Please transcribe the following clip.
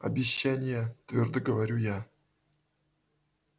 обещания твёрдо говорю я